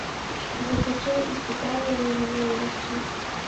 закачай испытание невиновностью